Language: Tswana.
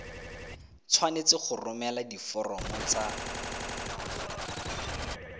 tshwanetse go romela diforomo tsa